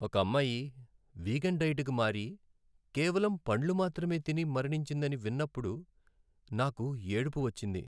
ఒక అమ్మాయి vegan diet కి మారి, కేవలం పండ్లు మాత్రమే తిని మరణించిందని విన్నపుడు నాకు ఏడుపు వచ్చింది.